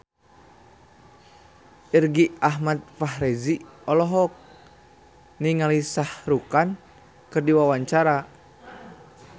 Irgi Ahmad Fahrezi olohok ningali Shah Rukh Khan keur diwawancara